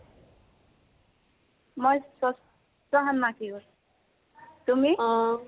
মই ষষ্ঠ সন্মাসীকত, তুমি?